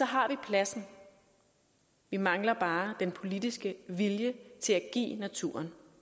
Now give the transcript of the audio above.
har vi pladsen vi mangler bare den politiske vilje til at give naturen